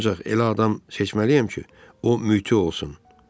Ancaq elə adam seçməliyəm ki, o müti olsun.